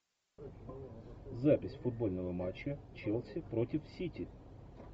запись футбольного матча челси против сити